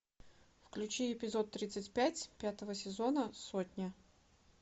включи эпизод тридцать пять пятого сезона сотня